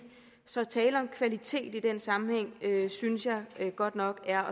så at tale om kvalitet i den sammenhæng synes jeg godt nok er